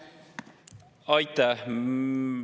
Aitäh!